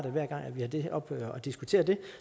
hver gang vi har det oppe og diskuterer det